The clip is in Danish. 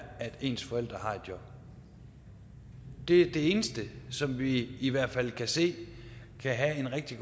at ens forældre har et job det er det eneste som vi i hvert fald kan se kan have en rigtig